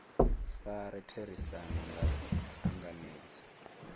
fare therisano nga u angaredza